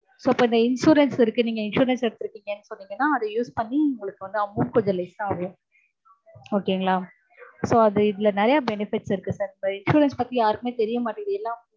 so இப்போ இந்த insurance இருக்கு. நீங்க insurance எடுத்திருக்கீங்கன்னு சொன்னீங்கன்னா அத use பண்ணி உங்களுக்~ amount கொஞ்சம் less ஆகும் okay ங்களா